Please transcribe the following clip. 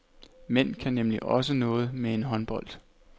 Mænd kan nemlig også noget med en håndbold.